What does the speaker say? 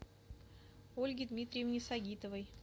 ольге дмитриевне сагитовой